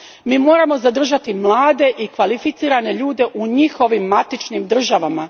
mi moramo zadržati mlade i kvalificirane ljude u njihovim matičnim državama.